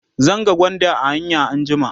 zan ga gwanda a hanya anjima